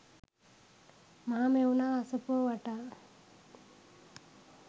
මහමෙවුනා අසපුව වටා